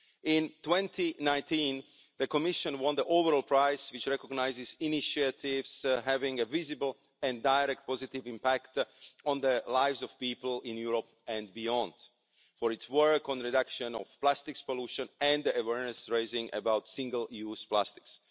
In 2019, the Commission won the overall prize, which recognises initiatives having a visible and direct positive impact on the lives of people in Europe and beyond for its work on the reduction of plastic pollution and awareness-raising about single-use plastics.